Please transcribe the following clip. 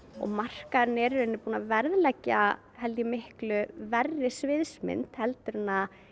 markaðurinn er í rauninni búinn að verðleggja miklu verri sviðsmynd heldur en